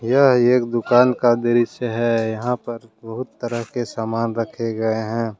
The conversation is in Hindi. यह एक दुकान का दृश्य हैयहां पर बहुत तरह के सामान रखे गए है।